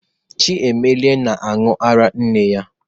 Chiemelie na-aṅụ ara nne ya.